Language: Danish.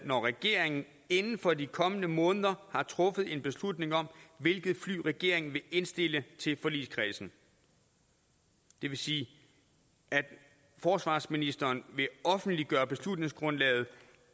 når regeringen inden for de kommende måneder har truffet en beslutning om hvilket fly regeringen vil indstille til forligskredsen det vil sige at forsvarsministeren vil offentliggøre beslutningsgrundlaget